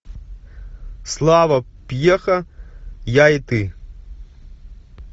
слава пьеха я и ты